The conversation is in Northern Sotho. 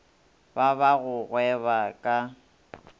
ba ba go gweba ka